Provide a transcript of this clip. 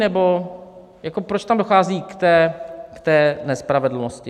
Nebo proč tam dochází k té nespravedlnosti?